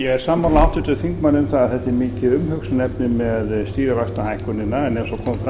ég er sammála háttvirtum þingmanni um að þetta er mikið umhugsunarefni með stýrivaxtahækkunina en eins og kom fram í